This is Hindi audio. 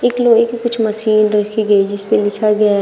लोहे की कुछ मशीन रखी गई जिस पे लिखा गया है।